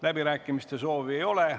Läbirääkimiste soovi ei ole.